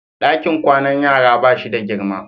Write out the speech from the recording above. Dakin kwanan yara ba shi da girma.